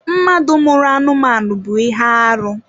Mmadụ mụrụ anụmanụ bụ ihe arụ.